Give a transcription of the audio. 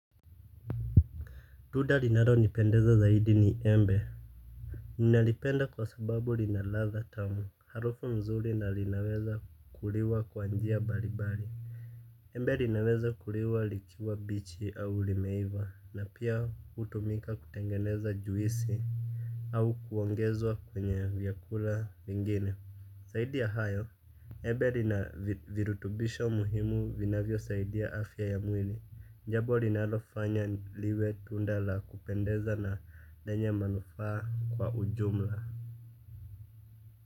Tunda linalonipendeza zaidi ni embe. Ninalipenda kwa sababu lina ladha tamu harufu nzuri na linaweza kuliwa kwa njia mbalimbali. Embe linaweza kuliwa likiwa bichi au limeiva na pia hutumika kutengeneza juisi. Au kuongezwa kwenye vyakula vingine. Zaidi ya hayo embe lina virutubisho muhimu vinavyosaidia afya ya mwili jambo linalofanya liwe tunda la kupendeza na lenye manufaa kwa ujumla.